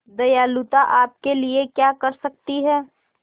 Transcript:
दयालुता आपके लिए क्या कर सकती है